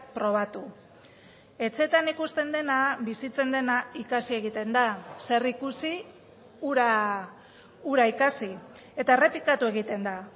probatu etxeetan ikusten dena bizitzen dena ikasi egiten da zer ikusi hura ikasi eta errepikatu egiten da